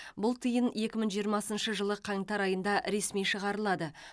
бұл тиын екі мың жиырмасыншы жылы қаңтар айында ресми шығарылады